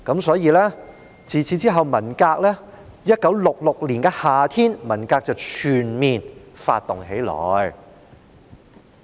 所以，在1966年的夏天，文革便全面發動起來。